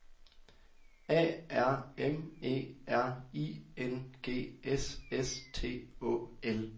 A R M E R I N G S S T Å L